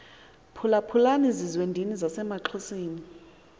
phulaphulani zizwendini zasemaxhoseni